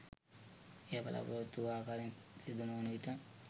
එය බලාපොරොත්තු වූ ආකාරයෙන් සිදුනොවන විට